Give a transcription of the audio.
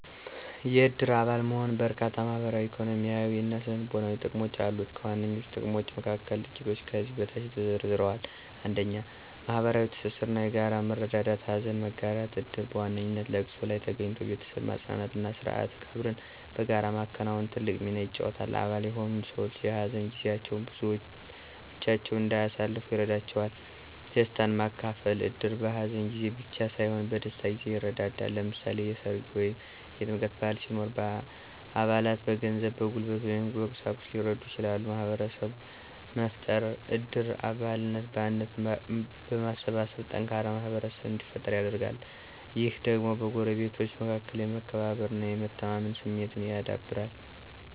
የእድር አባል መሆን በርካታ ማህበራዊ፣ ኢኮኖሚያዊ እና ስነ-ልቦናዊ ጥቅሞች አሉት። ከዋነኞቹ ጥቅሞች መካከል ጥቂቶቹ ከዚህ በታች ተዘርዝረዋል፦ 1. ማህበራዊ ትስስር እና የጋራ መረዳዳት * ሀዘን መጋራት: እድር በዋነኛነት ለቅሶ ላይ ተገኝቶ ቤተሰብን ማጽናናት እና ስርዓተ ቀብርን በጋራ ማከናወን ትልቅ ሚና ይጫወታል። አባል የሆኑት ሰዎች የሀዘን ጊዜያቸውን ብቻቸውን እንዳያሳልፉ ይረዳቸዋል። * ደስታን ማካፈል: እድር በሀዘን ጊዜ ብቻ ሳይሆን በደስታ ጊዜም ይረዳዳል። ለምሳሌ፣ የሠርግ ወይም የጥምቀት በዓል ሲኖር አባላት በገንዘብ፣ በጉልበት ወይም በቁሳቁስ ሊረዱ ይችላሉ። * ማህበረሰብ መፍጠር: እድር አባላትን በአንድነት በማሰባሰብ ጠንካራ ማህበረሰብ እንዲፈጠር ያደርጋል። ይህ ደግሞ በጎረቤቶች መካከል የመከባበር እና የመተማመን ስሜትን ያዳብራል